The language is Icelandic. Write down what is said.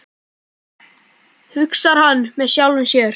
hugsar hann með sjálfum sér.